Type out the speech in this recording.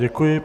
Děkuji.